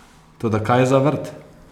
Toda kaj za vrt?